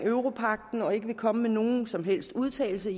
europagten og ikke vil komme med nogen som helst udtalelse